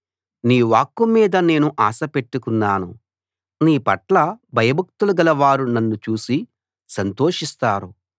నీ వాక్కు మీద నేను ఆశపెట్టుకున్నాను నీపట్ల భయభక్తులు గలవారు నన్ను చూసి సంతోషిస్తారు